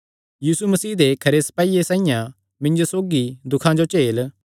यीशु मसीह दे खरे सपाईये साइआं मिन्जो सौगी दुखां जो झेल